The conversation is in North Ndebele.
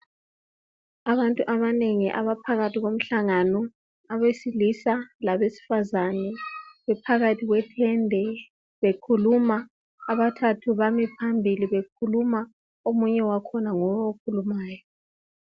Abantu abanengi abaphakathi komhlangano. Abesilisa labesifazana bephakathi kwetende bekhuluma, abathathu bame phambili bekhuluma omunye wakhona nguye okhulumayo.